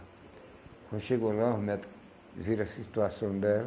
Quando chegou lá, os médico viram a situação dela,